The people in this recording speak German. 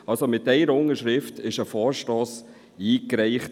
Das heisst, es wurde ein Vorstoss mit einer einzigen Unterschrift eingereicht.